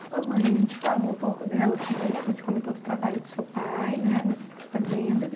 Sua mãe, a gente falou um pouco dela, comen você comentou do trabalho do seu pai, né, nas fazendas.